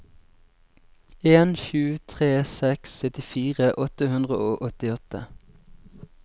en sju tre seks syttifire åtte hundre og åttiåtte